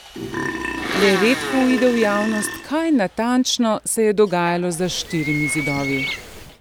Le redko uide v javnost, kaj natančno se je dogajalo za štirimi zidovi.